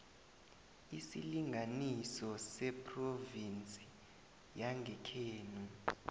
isilinganiso sephrovinsi yangekhenu